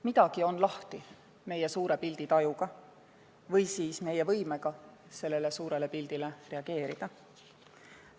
Midagi on lahti meie suure pildi tajuga või siis meie võimega sellele suurele pildile reageerida.